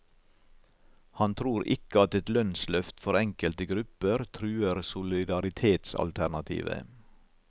Han tror ikke at et lønnsløft for enkelte grupper truer solidaritetsalternativet.